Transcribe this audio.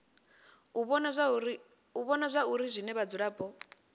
u vhona zwauri zwine vhadzulapo